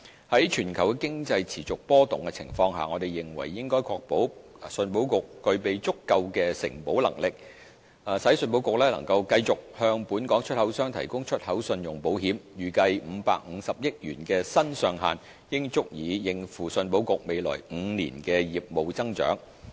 在全球經濟持續波動的情況下，我們認為應確保信保局具備足夠的承保能力，使信保局能繼續向本港出口商提供出口信用保險，預計550億元的新上限應足以應付信保局未來5年的業務增長。